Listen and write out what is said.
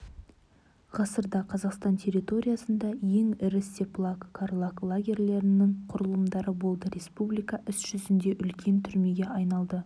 ғасырда қазақстан территориясында ең ірі степлаг карлаг лагерлерінің құрылымдары болды республика іс жүзінде үлкен түрмеге айналды